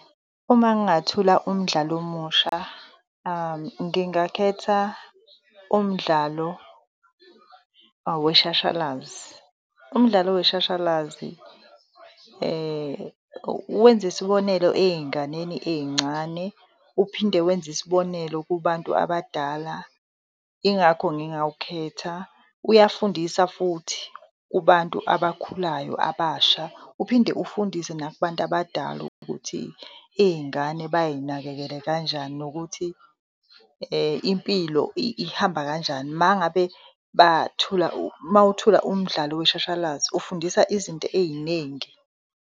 Uma ngingathola umdlalo omusha, ngingakhetha umdlalo weshashalazi. Umdlalo weshashalazi wenza isibonelo ey'nganeni ey'ncane, uphinde wenze isibonelo kubantu abadala, ingakho ngingawukhetha. Uyafundisa futhi kubantu abakhulayo abasha, uphinde ufundise nabantu abadala ukuthi iy'ngane bay'nakekele kanjani, nokuthi impilo ihamba kanjani. Mangabe bathula, mawuthula umdlalo weshashalazi ufundisa izinto ey'nengi.